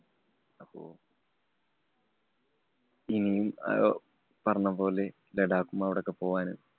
ഇനിയും അഹ് പറഞ്ഞപോലെ ലഡാക്കും, അവിടൊക്കെ പോകാനും